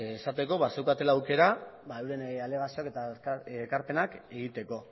esateko bazeukatela aukera euren alegazioak eta ekarpenak egiteko